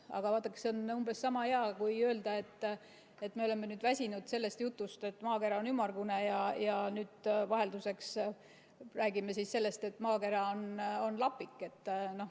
Aga vaadake, see on umbes sama hea kui öelda, et me oleme väsinud sellest jutust, et maakera on ümmargune, ja vahelduseks räägime sellest, et maakera on lapik.